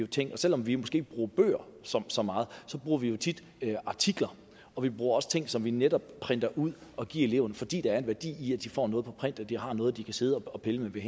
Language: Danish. ting og selv om vi måske ikke bruger bøger så meget så bruger vi jo tit artikler og vi bruger også ting som vi netop printer ud og giver eleverne fordi der er en værdi i at de får noget på print så de har noget de kan sidde og pille ved